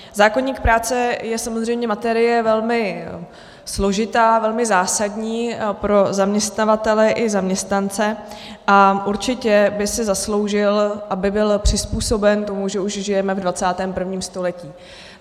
Zákoník práce je samozřejmě materie velmi složitá, velmi zásadní pro zaměstnavatele i zaměstnance a určitě by si zasloužil, aby byl přizpůsoben tomu, že už žijeme v 21. století.